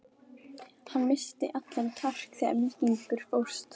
Hann missti allan kjark þegar Víkingur fórst.